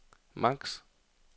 maks